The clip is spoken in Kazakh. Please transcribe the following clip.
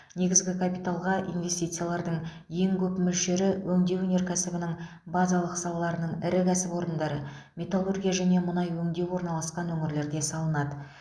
негізгі капиталға инвестициялардың ең көп мөлшері өңдеу өнеркәсібінің базалық салаларының ірі кәсіпорындары металлургия және мұнай өңдеу орналасқан өңірлерде салынады